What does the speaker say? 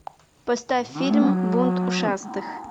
поставь фильм бунт ушастых